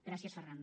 gràcies ferran